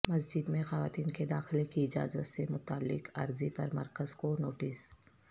مسجد میں خواتین کے داخلے کی اجازت سے متعلق عرضی پر مرکز کو نوٹس